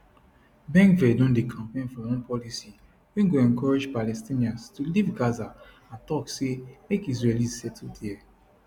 bengvir don dey campaign for one policy wey go encourage palestinians to leave gaza and tok say make israelis settle dia